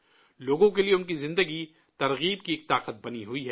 لوگوں کے لیے ان کی زندگی حوصلہ کی طاقت بنی ہوئی ہے